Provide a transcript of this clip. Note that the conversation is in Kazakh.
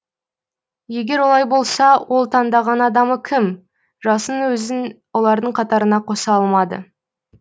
егер олай болса ол таңдаған адамы кім жасын өзін олардың қатарына қоса алмады